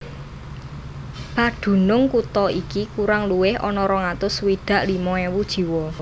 Padunung kutha iki kurang luwih ana rong atus swidak limo ewu jiwa